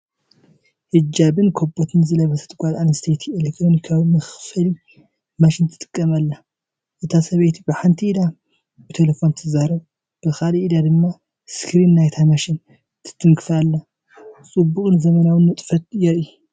ሂጃብን ካቦትን ዝለበሰት ጓል ኣንስተይቲ ኤሌክትሮኒካዊ መኽፈሊ ማሽን ትጥቀም ኣላ። እታ ሰበይቲ ብሓንቲ ኢዳ ብተሌፎና ትዛረብ ብኻልእ ኢዳ ድማ ስክሪን ናይታ ማሽን ትትንክፍ ኣላ። ጽዑቕን ዘመናውን ንጥፈት የርኢ፡፡